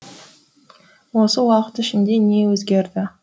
осы уақыт ішінде не өзгерді